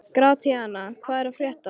Gratíana, hvað er að frétta?